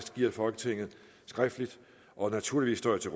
giver folketinget skriftligt og naturligvis står jeg til